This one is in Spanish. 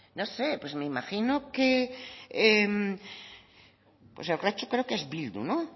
no sé pues me imagino que pues urretxu creo que es bildu no